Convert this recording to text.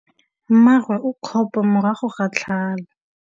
Mmagwe o kgapô morago ga tlhalô.